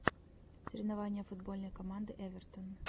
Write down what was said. соревнования футбольной команды эвертон